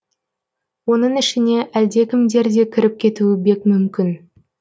оның ішіне әлдекімдер де кіріп кетуі бек мүмкін